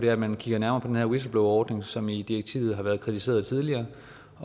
er at man kigger nærmere på den her whistleblowerordning som i direktivet har været kritiseret tidligere